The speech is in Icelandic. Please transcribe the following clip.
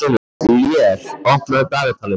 Lér, opnaðu dagatalið mitt.